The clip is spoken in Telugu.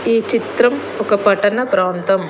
ఈ చిత్రం ఒక పట్టణ ప్రాంతం.